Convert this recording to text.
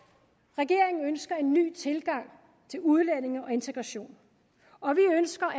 regeringen ønsker en ny tilgang til udlændinge og integration og vi ønsker